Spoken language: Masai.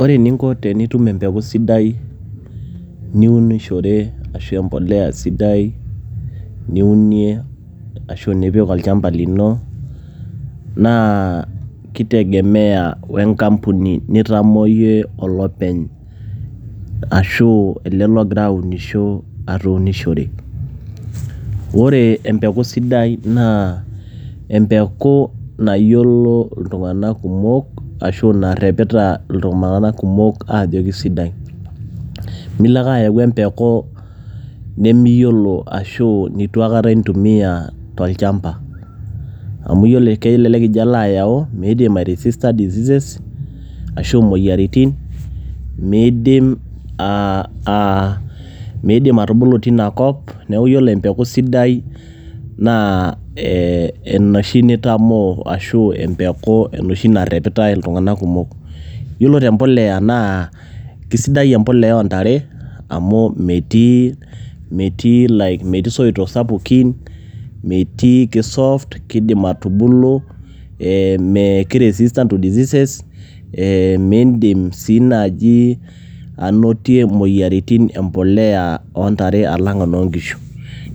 Ore eninko tenitum empeku sidai niunishore ashu empolea sidai niunie ashu nipik olchamba lino, naa kitegemea we nkampuni nitamoo yie olopeny. Ashu ele logira aunisho atuunishore. Ore empeku sidai naa, empeku nayiolo iltung'anak kumok, ashu narrepita iltung'anak kumok ajo kesidai. Milo ake ayau empeku nimiyiolo ashu neitu aikata intumia tolchamba. Amu yiolo kelelek ijo alo ayau, miidim ai resista diseases ,ashu moyiaritin, miidim ah atubulu tinakop, neeku yiolo empeku sidai naa eh enoshi nitamoo ashu enoshi narrepitai iltung'anak kumok. Yiolo te mpolea naa, kesidai empolea oontare amu metii isoitok sapukin, metii ki soft kidim atubulu, eh ke resistant to diseases ,eh miidim si naji anotie moyiaritin empolea ontare alang' enoo nkishu.